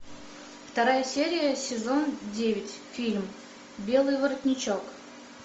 вторая серия сезон девять фильм белый воротничок